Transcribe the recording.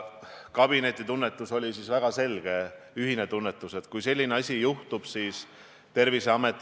Ka see tänane arutelu sel teemal ja teie sõnavõtud läbirääkimiste voorus annavad ju uut sisendit või tunnetust, mis samme tuleb astuda ja mida tuleb teha, kuidas Riigikogu kõike edasist näeb.